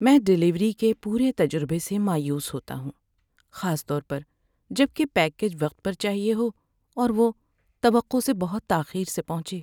میں ڈیلیوری کے پورے تجربے سے مایوس ہوتا ہوں، خاص طور پر جب کہ پیکیج وقت پر چاہیے ہو اور وہ وہ توقع سے بہت تاخیر سے پہنچے۔